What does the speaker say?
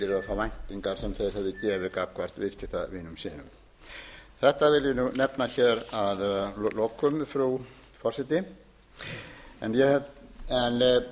væntingar sem þeir höfðu gefið gagnvart viðskiptavinum sínum þetta vil ég nú nefna hér að lokum frú forseti